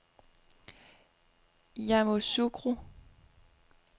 Yamoussoukro